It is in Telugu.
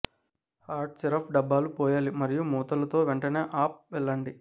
హాట్ సిరప్ డబ్బాలు పోయాలి మరియు మూతలు తో వెంటనే అప్ వెళ్లండి